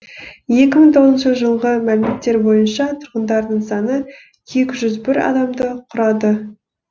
екі мың тоғызыншы жылғы мәліметтер бойынша тұрғындарының саны екі жүз бір адамды құрады